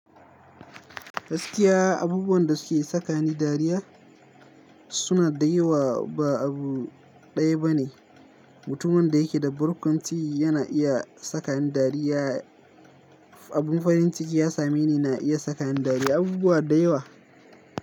Gaskiya abubuwan da suke sakani dariya suna da yawa ba abu ɗaya ba ne. Mutumin da yake da burkunci yana iya sakani dariya. Abin farin ciki ya same ni na iya sakani dariya abubuwa da yawa.